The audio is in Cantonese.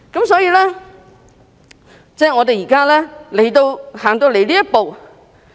所以，我們現在才走到這一步。